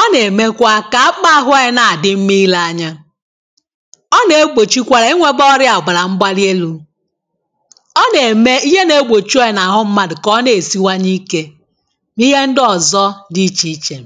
ọ nà-èmekwa kà akpukpa ahụ anyi na-àdị mma i̇le anya, ọ nà-egbòchikwara ịnwėte ọrịa àgbàrà mgbali elu̇, ọ nà-ème ìhè na egbochu anyị nà-àhụ mmadụ̀ kà ọ na-èsiwanye ike, n’ihe ndị ọ̀zọ dị ichè ichè.